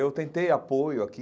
Eu tentei apoio aqui,